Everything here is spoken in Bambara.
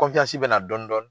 bɛ na dɔni dɔni.